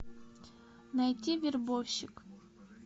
найти вербовщик